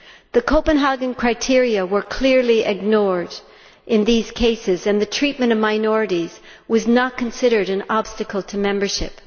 The Copenhagen criteria were clearly ignored in those cases, and the treatment of minorities was not considered an obstacle to membership.